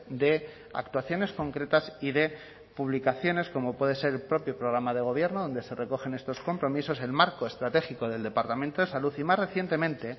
de actuaciones concretas y de publicaciones como puede ser el propio programa de gobierno donde se recogen estos compromisos el marco estratégico del departamento de salud y más recientemente